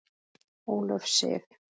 Ólöf Sif.